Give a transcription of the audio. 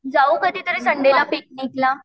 जाऊ कधीतरी संडेला पिकनिकला